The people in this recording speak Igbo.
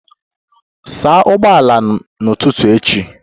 Saa ụgbọala m n'ụtụtụ echi!